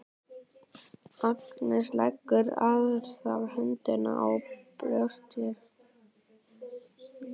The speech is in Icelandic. Agnes leggur aðra hönd á brjóst sér.